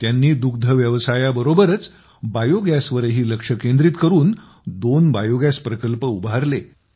त्यांनी दुग्धव्यवसाया बरोबरच बायोगॅसवरही लक्ष केंद्रित करून दोन बायोगॅस प्रकल्प उभारले